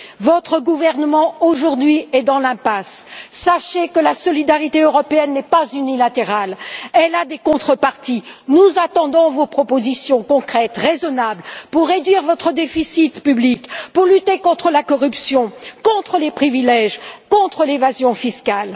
Votre gouvernement aujourd'hui est dans l'impasse, sachez que la solidarité européenne n'est pas unilatérale, elle a des contreparties, nous attendons vos propositions concrètes, raisonnables pour réduire votre déficit public, pour lutter contre la corruption, contre les privilèges, contre l'évasion fiscale.